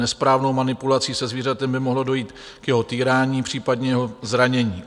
Nesprávnou manipulací se zvířetem by mohlo dojít k jeho týrání, případně jeho zranění.